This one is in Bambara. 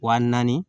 Wa naani